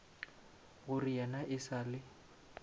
gore yena e sa le